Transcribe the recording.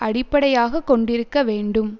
அடிப்படையாக கொண்டிருக்க வேண்டும்